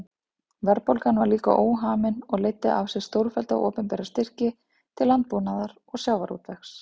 Verðbólgan var líka óhamin og leiddi af sér stórfellda opinbera styrki til landbúnaðar og sjávarútvegs.